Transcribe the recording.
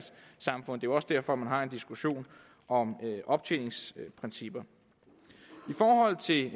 jo også derfor man har en diskussion om optjeningsprincipper i forhold til